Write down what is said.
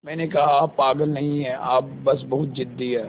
मैंने कहा आप पागल नहीं हैं आप बस बहुत ज़िद्दी हैं